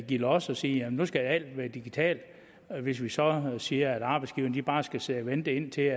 give los og sige at nu skal alt være digitalt hvis vi så siger at arbejdsgiverne bare skal sidde og vente indtil